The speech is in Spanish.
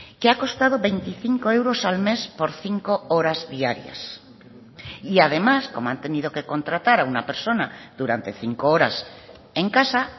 que ha costado veinticinco euros al mes por cinco horas diarias y además como han tenido que contratar a una persona durante cinco horas en casa